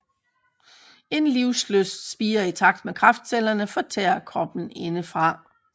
En livslyst spirer i takt med kræftcellerne fortærer kroppen indefra